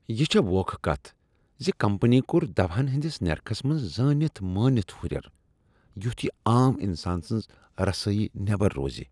یہ چھےٚ ووکھٕ کتھ زِ کمپنی کوٚر دواہن ہٕنٛدِس نرخس منٛز زٲنتھ مٲنتھ ہُریریُتھ یہ عام انسان سنز رسٲیی نیبر روزِ۔